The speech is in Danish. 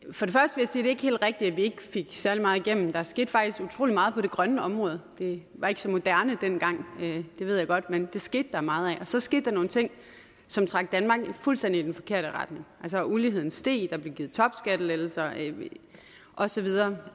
ikke er helt rigtigt at vi ikke fik særlig meget igennem der skete faktisk utrolig meget på det grønne område det var ikke så moderne dengang det ved jeg godt men der skete meget dér så skete der nogle ting som trak danmark i fuldstændig den forkerte retning altså uligheden steg der blev givet topskattelettelser og så videre det